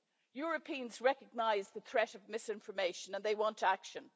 Europeans recognise the threat of misinformation, and they want action.